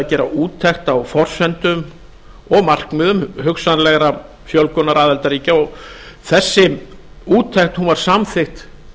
gera úttekt á forsendum og markmiðum hugsanlegrar fjölgunar aðildarríkja og þessi úttekt var samþykkt